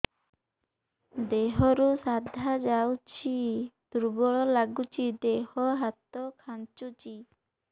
ଦେହରୁ ସାଧା ଯାଉଚି ଦୁର୍ବଳ ଲାଗୁଚି ଦେହ ହାତ ଖାନ୍ଚୁଚି